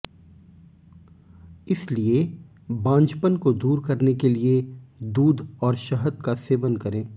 इसलिये बाझपन को दूर करने के लिये दूध और शहद का सेवन करें